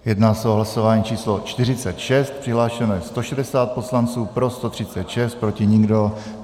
Jedná se o hlasování číslo 46, přihlášeno je 160 poslanců, pro 136, proti nikdo.